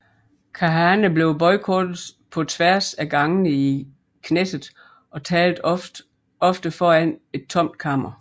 Kahane blev boykottet på tværs af gangene i Knesset og talte ofte foran et tomt kammer